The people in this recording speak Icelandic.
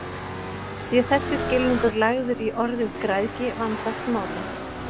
Sé þessi skilningur lagður í orðið græðgi vandast málið.